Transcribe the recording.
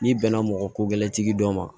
N'i bɛnna mɔgɔ ko gɛlɛya tigi dɔ ma